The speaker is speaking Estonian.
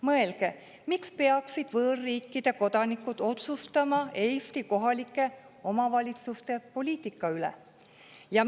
Mõelge, miks peaksid võõrriikide kodanikud otsustama Eesti kohalike omavalitsuste poliitika üle?